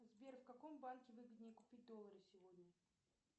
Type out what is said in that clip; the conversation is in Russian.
сбер в каком банке выгоднее купить доллары сегодня